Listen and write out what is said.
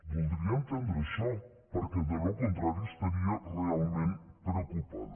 voldria entendre això perquè del contrari estaria realment preocupada